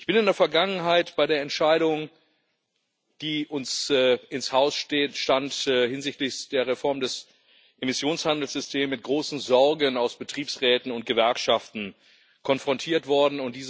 Ich bin in der Vergangenheit bei der Entscheidung, die uns ins Haus stand hinsichtlich der Reform des Emissionshandelssystems mit großen Sorgen aus Betriebsräten und Gewerkschaften konfrontiert worden.